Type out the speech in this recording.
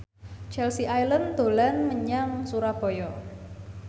Chelsea Islan dolan menyang Surabaya